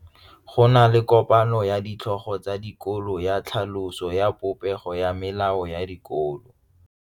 Go na le kopanô ya ditlhogo tsa dikolo ya tlhaloso ya popêgô ya melao ya dikolo.